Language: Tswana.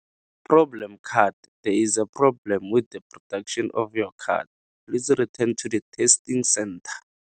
Problem card, There is a problem with the production of your card. Please return to the testing centre.